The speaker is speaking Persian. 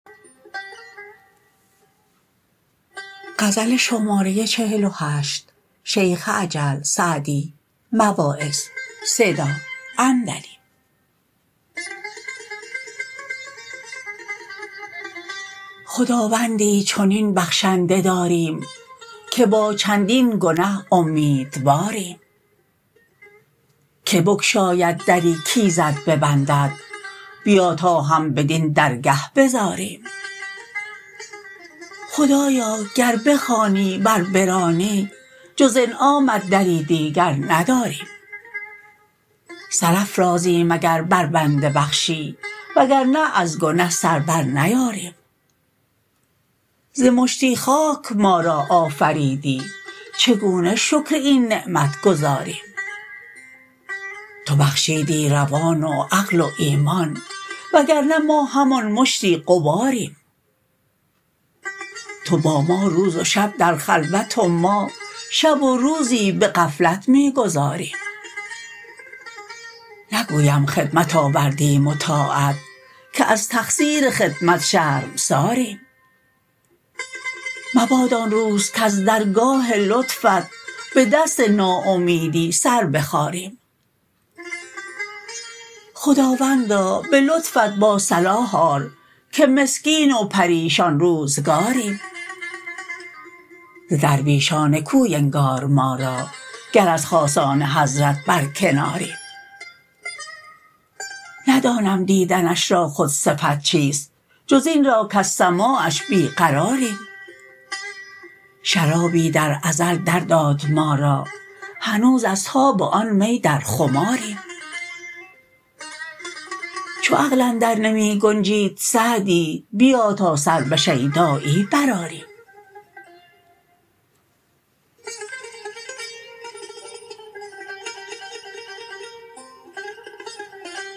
خداوندی چنین بخشنده داریم که با چندین گنه امیدواریم که بگشاید دری کایزد ببندد بیا تا هم بدین درگه بزاریم خدایا گر بخوانی ور برانی جز انعامت دری دیگر نداریم سر افرازیم اگر بر بنده بخشی وگرنه از گنه سر بر نیاریم ز مشتی خاک ما را آفریدی چگونه شکر این نعمت گزاریم تو بخشیدی روان و عقل و ایمان وگرنه ما همان مشتی غباریم تو با ما روز و شب در خلوت و ما شب و روزی به غفلت می گذاریم نگویم خدمت آوردیم و طاعت که از تقصیر خدمت شرمساریم مباد آن روز کز درگاه لطفت به دست ناامیدی سر بخاریم خداوندا به لطفت با صلاح آر که مسکین و پریشان روزگاریم ز درویشان کوی انگار ما را گر از خاصان حضرت برکناریم ندانم دیدنش را خود صفت چیست جز این را کز سماعش بیقراریم شرابی در ازل در داد ما را هنوز از تاب آن می در خماریم چو عقل اندر نمی گنجید سعدی بیا تا سر به شیدایی برآریم